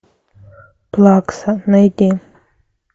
плакса найди